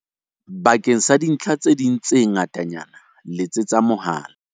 Bakeng sa dintlha tse ding tse ngatanyana letsetsa mohala.